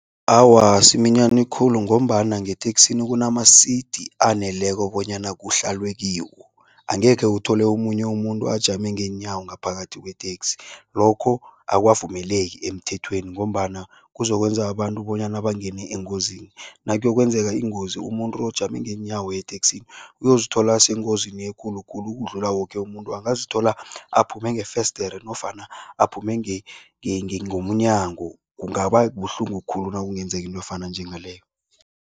Awa, asiminyani khulu ngombana ngeteksini kunama-seat aneleko bonyana kuhlalwe kiwo. Angekhe uthole omunye umuntu ajame ngeenyawo ngaphakathi kweteksi, lokho akukavumeleki emthethweni ngombana kuzokwenza abantu bonyana bangene engozini. Nakuyokwenzeka ingozi umuntu ojame ngeenyawo ngeteksini uyozithola asengozini ekulu khulu ukudlula woke umuntu, angazithola aphume ngefesidere nofana aphume ngomnyango, kungaba buhlungu khulu nakungenzeka into efana njengaloyo.